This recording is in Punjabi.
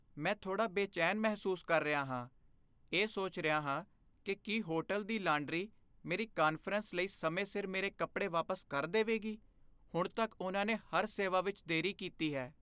ਮੈਂ ਥੋੜਾ ਬੇਚੈਨ ਮਹਿਸੂਸ ਕਰ ਰਿਹਾ ਹਾਂ, ਇਹ ਸੋਚ ਰਿਹਾ ਹਾਂ ਕਿ ਕੀ ਹੋਟਲ ਦੀ ਲਾਂਡਰੀ ਮੇਰੀ ਕਾਨਫਰੰਸ ਲਈ ਸਮੇਂ ਸਿਰ ਮੇਰੇ ਕੱਪੜੇ ਵਾਪਸ ਕਰ ਦੇਵੇਗੀ। ਹੁਣ ਤੱਕ ਉਨ੍ਹਾਂ ਨੇ ਹਰ ਸੇਵਾ ਵਿੱਚ ਦੇਰੀ ਕੀਤੀ ਹੈ।